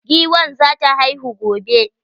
Giwan za ta haifu gobe.